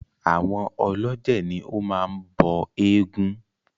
Àwọn ọlọ́jẹ̀ ní o máa ń bọ eégún.